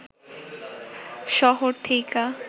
শহর থেইকা